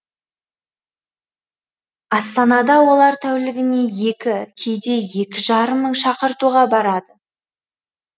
астанада олар тәулігіне екі кейде екі жарым мың шақыртуға барады